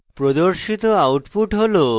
প্রদর্শিত output হল